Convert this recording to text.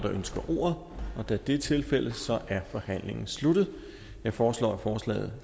der ønsker ordet og da det er tilfældet er forhandlingen sluttet jeg foreslår at forslaget